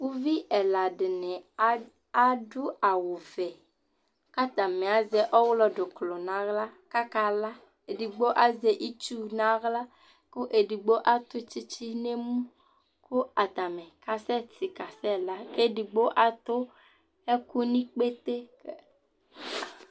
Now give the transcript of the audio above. ʋvi ɛla dini adʋ awʋ vɛ kʋ atami azɛ ɔwlɔ dzʋklɔ nʋ ala kʋ aka la, ɛdigbɔ azɛ itsʋ nʋ ala kʋ ɛdigbɔ atʋ tsitsi nʋ ɛmʋ kʋ atani asɛ ti kasɛ la, ɛdigbɔ atʋ ɛkʋ nʋ ikpètè